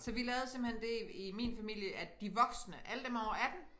Så vi lavede simpelthen det i min familie at de voksne alle dem over 18